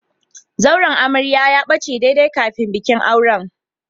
Zauren amarya ya bace daidai kafin bikin auren.